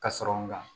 Ka sɔrɔ n ga